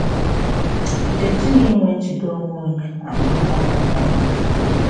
E jighị inwe njide onwe ama nwa a mụrụ ọhụrụ.